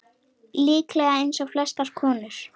Líklega eins og flestar konur.